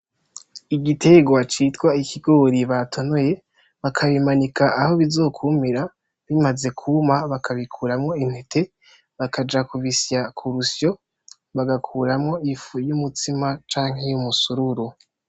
Igitegwa citwa ikigori batonoye, bakabimanika aho bizokumira, bimaze kuma bakabikuramwo intete, bakaja kubisya kurusyo bagakuramwo ifu y'umutsima canke y'umusururu.